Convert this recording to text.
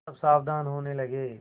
सब सावधान होने लगे